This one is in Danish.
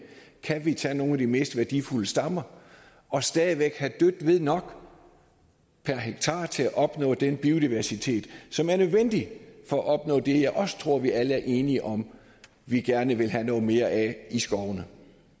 kan tage nogle af de mest værdifulde stammer og stadig væk have dødt ved nok per hektar til at opnå den biodiversitet som er nødvendig for at opnå det som jeg også tror vi alle er enige om at vi gerne vil have noget mere af i skovene